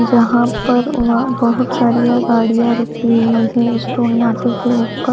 जहां पर वहां बहोत सारियां गाड़ियां रुकी हुई है उस टोल नाके के ऊपर--